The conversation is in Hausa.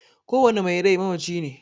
Ko wani mai rai mamaci ne